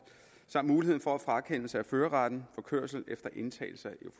samt mulighed for frakendelse af førerretten for kørsel efter indtagelse af